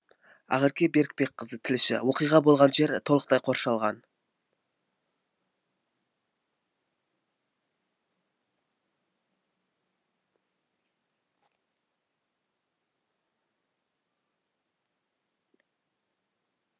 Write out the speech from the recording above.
ақерке берікбекқызы тілші оқиға болған жер толықтай қоршалған